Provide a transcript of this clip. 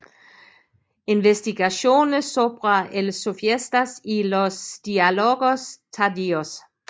Investigaciones sobre el Sofista y los diálogos tardíos